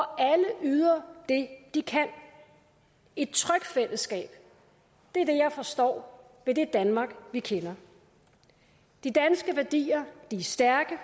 alle yder det de kan et trygt fællesskab er det jeg forstår ved det danmark vi kender de danske værdier er stærke